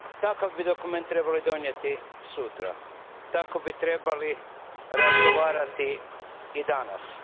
Takav bi dokument trebali donijeti sutra, tako bi trebali razgovarati i danas.